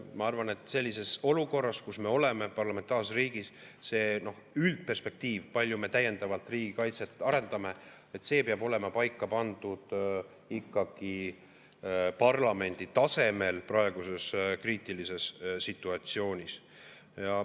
Ma arvan, et sellises olukorras, kus me oleme, parlamentaarses riigis see üldperspektiiv, kui palju me täiendavalt riigikaitset arendame, peab olema paika pandud ikkagi parlamendi tasemel praeguses kriitilises situatsioonis.